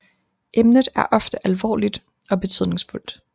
Emnet er ofte alvorligt og betydningsfuldt